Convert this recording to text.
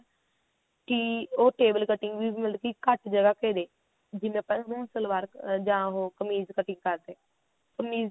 ਕੀ ਉਹ table cutting ਵੀ ਮਤਲਬ ਕੀ ਘੱਟ ਜਗ੍ਹਾ ਘੇਰਦੀ ਸੀ ਜਿਵੇਂ ਆਪਾਂ ਨਾ ਸਲਵਾਰ ਜਾਂ ਉਹ ਕਮੀਜ cutting ਕਰਦੇ ਕਮੀਜ ਦੀ